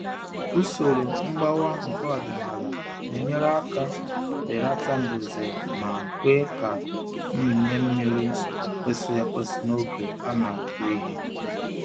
Usoro mgbawa nke ọdịnala na-enyere aka belata mbuze ma kwe ka mmịnye mmiri kwesịrị ekwesị n'oge a na-akụ ihe.